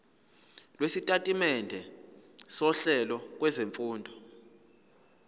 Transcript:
lwesitatimende sohlelo lwezifundo